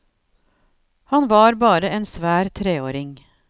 Han var bare en svær treåring.